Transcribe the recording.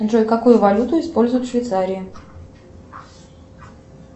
джой какую валюту используют в швейцарии